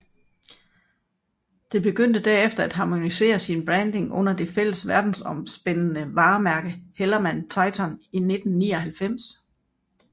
Det begyndte derefter at harmonisere sin branding under det fælles verdensomspændende varemærke HellermannTyton i 1999